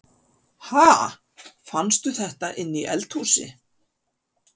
Ha! Fannstu þetta inni í eldhúsi?